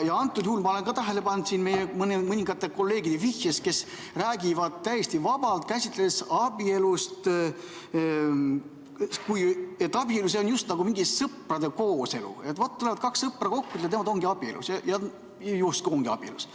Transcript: Antud juhul olen ma tähele pannud meie mõningate kolleegide vihjetest, kes räägivad täiesti vabalt, käsitledes abielu, et see oleks justkui mingi sõprade kooselu, tulevad kaks sõpra kokku ja nemad justkui ongi abielus.